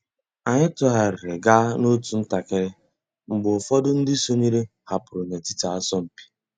Ányị́ tụ́ghàrị́rị́ gàá n'otu ntakị́rị́ mg̀bé ụ́fọ̀dụ́ ndị́ sònyééré hàpụ́rụ́ n'ètìtí àsọ̀mpị́.